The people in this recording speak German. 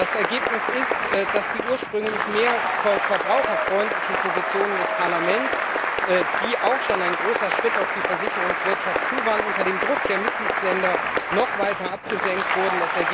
Das Ergebnis ist, dass die ursprünglich mehr verbraucherfreundlichen Positionen des Parlaments, die auch schon ein großer Schritt auf die Versicherungswirtschaft zu waren, unter dem Druck der Mitgliedsländer noch weiter abgeschwächt wurden.